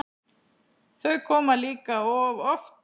Þau koma líka of oft.